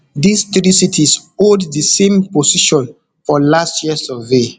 dis three cities hold di same position for last year survey